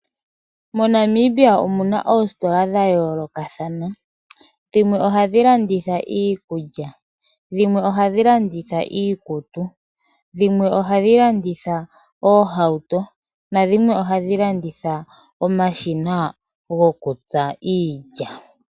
Mo Namibia omu na oositola dha yoolokathana dhimwe ohadhi landitha iikulya, dhimwe ohadhi landitha iikutu, dhimwe ohadhi landitha oohauto nadhimwe ohadhi landitha omashina gokutsa iilya.